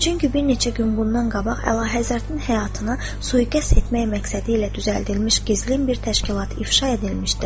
Çünki bir neçə gün bundan qabaq Əlahəzrətin həyatını sui-qəsd etmək məqsədilə düzəldilmiş gizlin bir təşkilat ifşa edilmişdir.